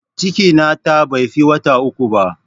Cikin na ta bai fi wata uku ba